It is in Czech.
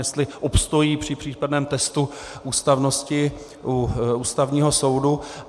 Jestli obstojí při případném testu ústavnosti u Ústavního soudu.